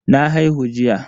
Na haihu jiya.